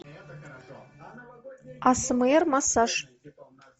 асмр массаж